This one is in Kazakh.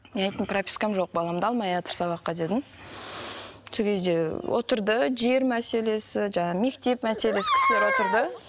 мен айттым пропискам жоқ баламды алмайатыр сабаққа дедім сол кезде отырды жер мәселесі жаңағы мектеп мәселесі кісілер отырды